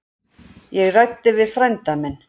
Ég ræddi við frænda minn.